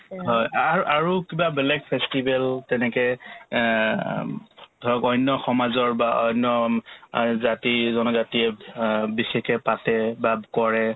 হয় আৰু আৰু কিবা বেলেগ festival তেনেকে এহ্ অ ধৰক অন্য সমাজৰ বা অন্য উম আৰু জাতি-জনজাতিয়ে অ বিশেষে পাতে বা কৰে